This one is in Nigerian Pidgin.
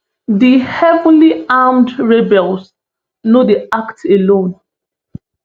di heavily armed rebels no dey act alone